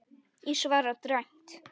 Ég svara dræmt.